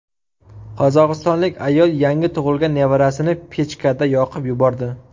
Qozog‘istonlik ayol yangi tug‘ilgan nevarasini pechkada yoqib yubordi.